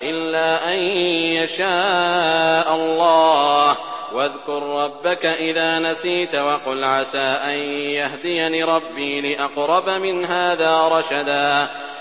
إِلَّا أَن يَشَاءَ اللَّهُ ۚ وَاذْكُر رَّبَّكَ إِذَا نَسِيتَ وَقُلْ عَسَىٰ أَن يَهْدِيَنِ رَبِّي لِأَقْرَبَ مِنْ هَٰذَا رَشَدًا